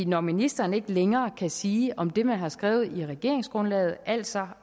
når ministeren ikke længere kan sige om det man har skrevet i regeringsgrundlaget altså